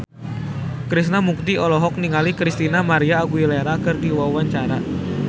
Krishna Mukti olohok ningali Christina María Aguilera keur diwawancara